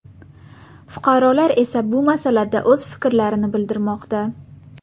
Fuqarolar esa bu masalada o‘z fikrlarini bildirmoqda .